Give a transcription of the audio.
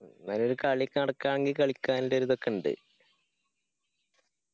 എന്നാ ഒരു കളി നടക്കാന് കളിക്കാനില്ല ഒരിതൊക്കെ ഇണ്ട്